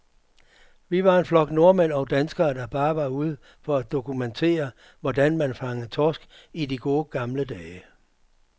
Vi var en flok nordmænd og danskere, der bare var ude for at dokumentere, hvordan man fangede torsk i de gode, gamle dage.